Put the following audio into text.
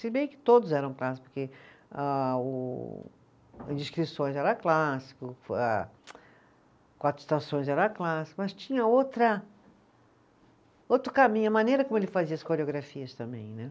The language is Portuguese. Se bem que todos eram clássicos, porque ah o, a Descrições era clássico, a Quatro Estações era clássico, mas tinha outra, outro caminho, a maneira como ele fazia as coreografias também, né?